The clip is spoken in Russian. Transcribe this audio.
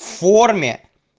форме